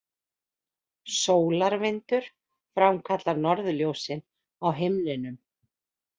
Sólarvindur framkallar norðurljósin á himninum